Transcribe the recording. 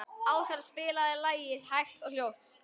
Áskatla, spilaðu lagið „Hægt og hljótt“.